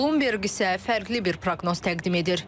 Bloomberg isə fərqli bir proqnoz təqdim edir.